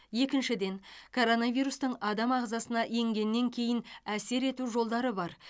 екіншіден коронавирустың адам ағзасына енгеннен кейін әсер ету жолдары бар